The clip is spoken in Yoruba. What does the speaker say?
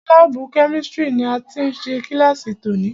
Lábùù Kẹ́místrì ni a ti ṣe kílàsì tòní.